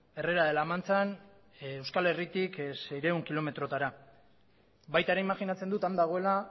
herrera de la manchan euskal herritik seiehun kilometrotara baita ere imajinatzen dut han dagoela